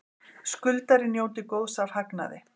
Skuldari njóti góðs af hagnaði